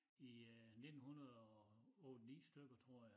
I øh 1900 og 8 9 stykker tror jeg